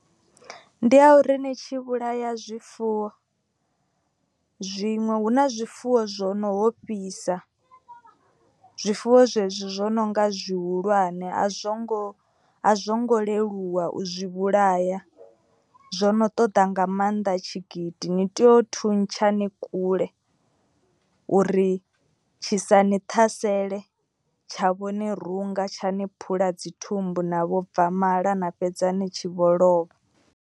Ndi ya uri ni tshi vhulaya zwifuwo zwiṅwe hu na zwifuwo zwo no ho fhisa. Zwifuwo zwezwi zwo no nga zwihulwane a zwo ngo a zwo ngo leluwa u zwi vhulaya. Zwono ṱoḓa nga maanḓa tshigidi ni tea u thuntsha ni kule. Uri tshisa ni ṱhasele tsha vhone runga tsha ni phula dzi thumbu na vho bva mala na fhedza ni tshi vho lovha.